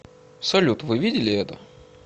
салют вы видели это